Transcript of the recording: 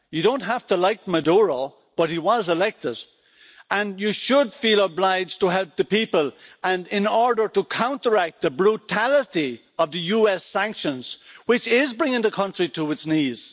You don't have to like Maduro, but he was elected and we should feel obliged to help the people in order to counteract the brutality of the US sanctions, which are bringing the country to its knees.